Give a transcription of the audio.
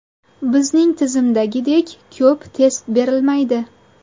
Bizning tizimdagidek ko‘p test berilmaydi.